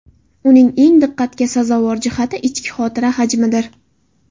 Uning eng diqqatga sazovor jihati ichki xotira hajmidir.